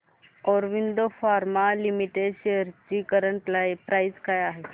Aurobindo pharma limited shares ची current price काय आहे